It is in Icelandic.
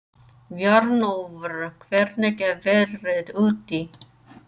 Bjarnólfur, hvernig er veðrið úti?